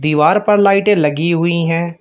द्वार पर लाइटें लगी हुई हैं।